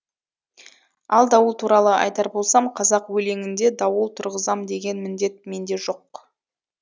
ал дауыл туралы айтар болсам қазақ өлеңінде дауыл тұрғызам деген міндет менде жоқ